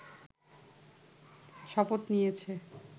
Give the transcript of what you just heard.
শপথ নিয়েছে